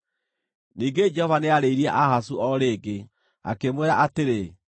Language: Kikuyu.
Ningĩ Jehova nĩarĩirie Ahazu o rĩngĩ, akĩmwĩra atĩrĩ,